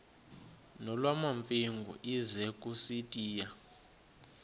nolwamamfengu ize kusitiya